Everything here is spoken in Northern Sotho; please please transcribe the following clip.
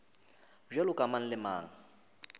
bjalo ka mang le mang